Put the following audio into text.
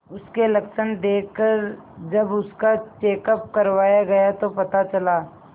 उसके लक्षण देखकरजब उसका चेकअप करवाया गया तो पता चला